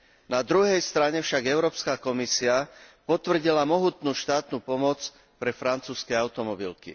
Na druhej strane však Európska komisia potvrdila mohutnú štátnu pomoc pre francúzske automobilky.